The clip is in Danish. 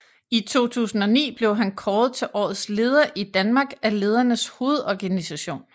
I 2009 blev han kåret til Årets Leder i Danmark af Ledernes Hovedorganisation